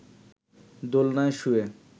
দোলনায় শুয়ে